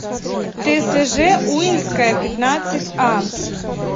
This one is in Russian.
тэсэжэ уинская пятнадцатьа